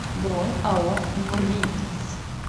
бронь ао мривц